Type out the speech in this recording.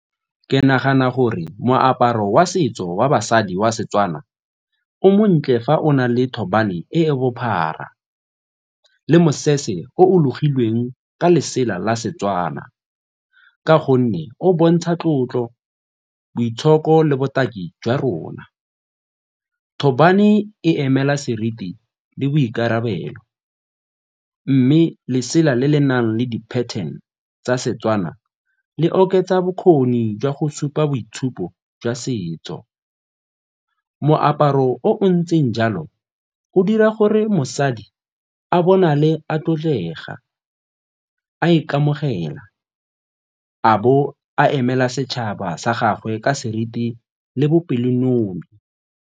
Ke nagana gore moaparo wa setso wa basadi wa Setswana o montle fa o na le thobane e e bophara le mosese o o logilweng ka letsela la Setswana ka gonne o bontsha tlotlo, boitshoko le botaki jwa rona. Thobane e emela seriti le boikarabelo mme lesela le le nang le di-pattern tsa Setswana le oketsa bokgoni jwa go supa boitshupo jwa setso. Moaparo o o ntseng jalo go dira gore mosadi a bonale a tlotlega, a ikamogela, a bo a emela setšhaba sa gagwe ka seriti le bopelonomi.